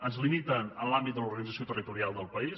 ens limiten en l’àmbit de l’organització territorial del país